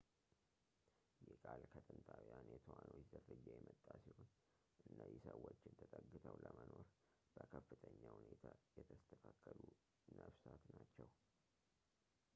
ይህ ቃል ከጥንታውያን የትኋኖች ዝርያ የመጣ ሲሆን እነዚህ ሰዎችን ተጠግተው ለመኖር በከፍተኛ ሁኔታ የተስተካከሉ ነፍሳት ናቸው